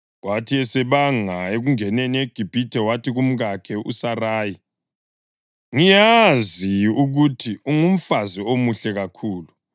Kwathi esebanga ukungena eGibhithe wathi kumkakhe uSarayi, “Ngiyazi ukuthi ungumfazi omuhle kakhulu.